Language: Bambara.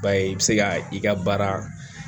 Ba ye i bɛ se ka i ka baara